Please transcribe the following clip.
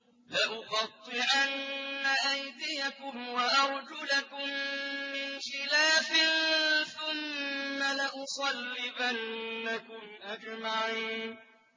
لَأُقَطِّعَنَّ أَيْدِيَكُمْ وَأَرْجُلَكُم مِّنْ خِلَافٍ ثُمَّ لَأُصَلِّبَنَّكُمْ أَجْمَعِينَ